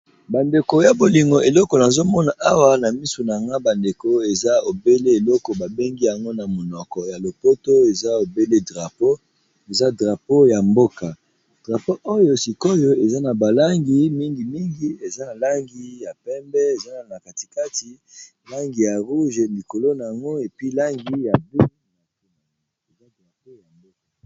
Bandeko ya bolingo eleko na zomona awa na misu na nga bandeko eza obele eloko babengi yango na monoko ya lopoto eza obele drapo, eza drapo ya mboka drapo oyo sikoyo eza na balangi mingimingi, eza langi ya pembe eza na katikati langi ya rouge, likolo nango epi langi ya bluea drapo ya mboka.